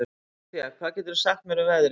Soffía, hvað geturðu sagt mér um veðrið?